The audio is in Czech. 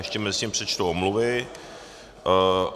Ještě mezitím přečtu omluvy.